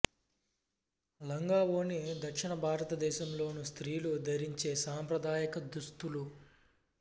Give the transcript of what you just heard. లంగా ఓణి దక్షిణ భారతదేశంలోని స్త్రీలు ధరించే సాంప్రదాయక దుస్తులు